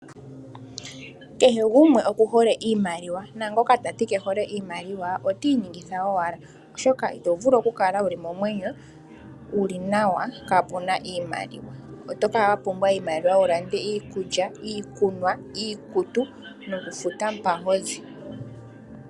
Kehe gumwe oku hole iimaliwa naango ta ti ke yihole otii ningitha owala oshoka I to vulu oku kala wuli momwenyo kaapuna iimaliwa, oto kala wa pumbwa iimaliwa wulande iikulya, iikunwa, iikutu nokufuta mpa ho zi.